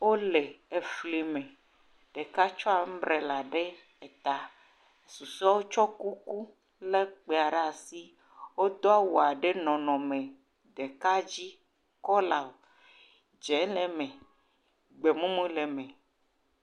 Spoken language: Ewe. Wole efli me, ɖeka tsɔ ambrela ɖe ta, susɔewo tsɔ kuku le gbea ɖe asi. Wodo awu ɖe nɔnɔme ɖeka dzi, kɔla dzɛ le eme, gbemumu le eme.